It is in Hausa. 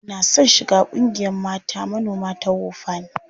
Muna son shiga ƙungiyar mata manoma ta WOFAN.